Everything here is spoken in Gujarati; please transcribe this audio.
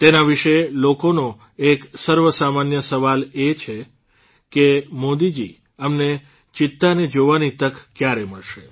તેના વિષે લોકોનો એક સર્વસામાન્ય સવાલ એ જ છે કે મોદીજી અમને ચિત્તાને જોવાની તક ક્યારે મળશે